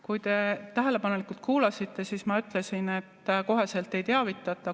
Kui te tähelepanelikult kuulasite, siis ma ütlesin, et koheselt ei teavitata.